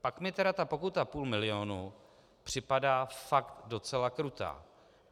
Pak mi tedy ta pokuta půl milionu připadá fakt docela krutá.